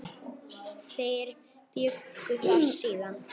Þeir bjuggu þar síðan.